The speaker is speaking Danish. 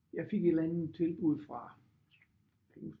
Jeg fik et eller andet tilbud fra